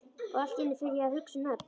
Og allt í einu fer ég að hugsa um nöfn.